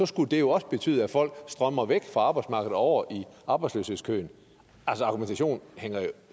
skulle det jo også betyde at folk strømmer væk fra arbejdsmarkedet og over i arbejdsløshedskøen altså argumentationen hænger jo